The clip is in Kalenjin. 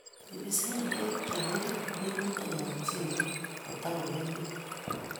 Ibisee beek cheng'ering' minutikab mchelek kotakomengech